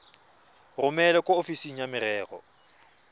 romele kwa ofising ya merero